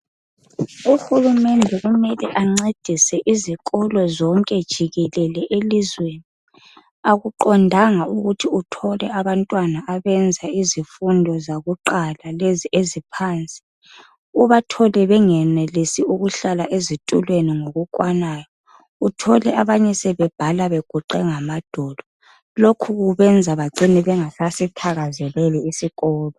Uhulumende kumele ancedise izikolo zonke jikelele elizweni. Akuqondanga ukuthi uthole abantwana abenza izifundo zakuqala lezi eziphansi, ubathole bengenelisi ukuhlala ezitulweni ngokukwanayo. Uthole abanye sebebhala beguqe ngamadolo. Lokhu kubenza bacine bengasasithakazeleli isikolo.